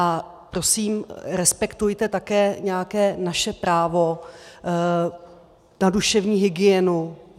A prosím, respektujte také nějaké naše právo na duševní hygienu.